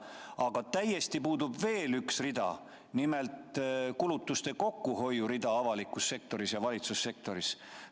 Aga üks rida on täiesti puudu, nimelt kulutuste kokkuhoid avalikus sektoris ja valitsussektoris.